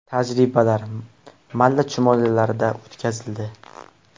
Tajribalar malla chumolilarda o‘tkazildi.